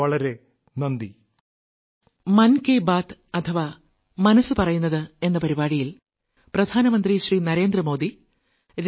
വളരെ വളരെ നന്ദി